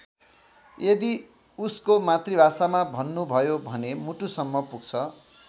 यदि उसको मातृभाषामा भन्नुभयो भने मुटुसम्म पुग्छ।